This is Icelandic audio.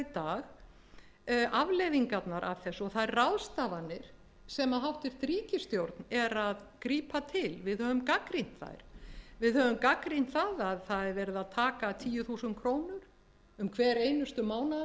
dag afleiðingarnar af þessu og þær ráðstafanir sem hæstvirt ríkisstjórn er að grípa til við höfum gagnrýnt að það er verið að taka tíu þúsund krónur um hver einustu mánaðamót af níutíu